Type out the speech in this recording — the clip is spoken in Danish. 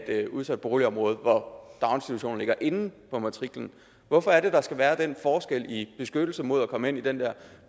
et udsat boligområde hvor daginstitutionen ligger inde på matriklen hvorfor er det der skal være den forskel i beskyttelse mod at komme ind i den der